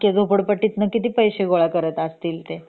तर अख्ख्या झोपडपट्टीतंन किती पैशे गोळा करत असतील ते